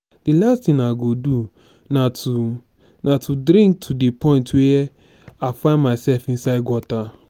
the last thing i go do na to na to drink to the point where i find myself inside gutter.